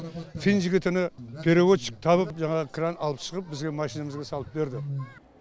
фин жігітіні переводчик тауып жаңағы кран алып шығып бізге машинамызға салып берді